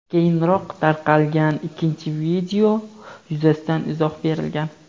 keyinroq tarqalgan ikkinchi video yuzasidan izoh berilgan.